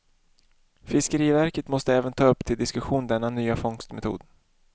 Fiskeriverket måste även ta upp till diskussion denna nya fångstmetod.